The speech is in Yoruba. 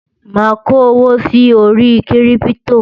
má kò owó sí orí kírìpitò